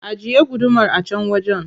Ajiye gudumar a can wajen.